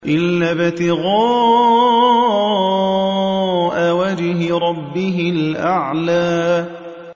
إِلَّا ابْتِغَاءَ وَجْهِ رَبِّهِ الْأَعْلَىٰ